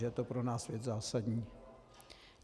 Že je to pro nás věc zásadní.